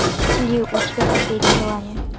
есть ли у тебя последнее желание